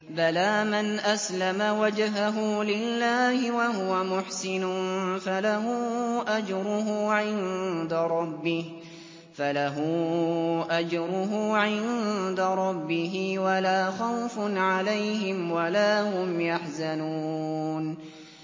بَلَىٰ مَنْ أَسْلَمَ وَجْهَهُ لِلَّهِ وَهُوَ مُحْسِنٌ فَلَهُ أَجْرُهُ عِندَ رَبِّهِ وَلَا خَوْفٌ عَلَيْهِمْ وَلَا هُمْ يَحْزَنُونَ